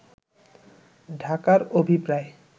ঢাকার অভিপ্রায়